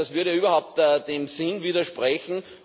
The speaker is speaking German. Das würde überhaupt dem Sinn widersprechen.